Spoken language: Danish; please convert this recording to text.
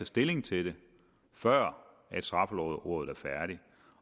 stilling til det før straffelovrådet er færdig